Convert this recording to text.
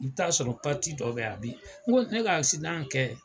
I bi taa sɔrɔ dɔw be yan a bi. N ko ne ka kɛ